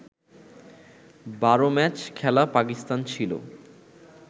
১২ match খেলা পাকিস্তান ছিল